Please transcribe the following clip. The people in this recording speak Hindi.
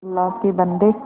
अल्लाह के बन्दे